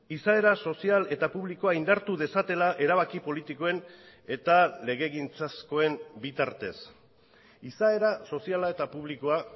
izaera sozial eta publikoa indartu dezatela erabaki politikoen eta legegintzazkoen bi tartez izaera soziala eta publikoa